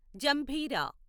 జంభీరా